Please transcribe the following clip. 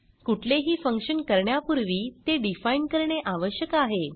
कुठलेही फंक्शन करण्यापूर्वी ते डिफाईन करणे आवश्यक आहे